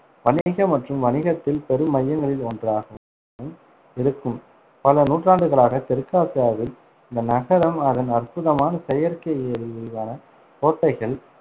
வணிக மற்றும் வணிகத்தின் பெரும் மையங்களில் ஒன்றாகவும் இருக்கும். பல நூற்றாண்டுகளாக தெற்காசியாவில் இந்த நகரம் அதன் அற்புதமான செயற்கை ஏரி, விரிவான கோட்டைகள்,